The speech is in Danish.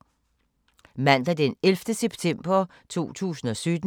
Mandag d. 11. september 2017